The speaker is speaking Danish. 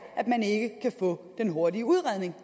at man ikke kan få den hurtige udredning